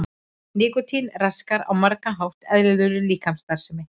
Nikótín raskar á margan hátt eðlilegri líkamsstarfsemi.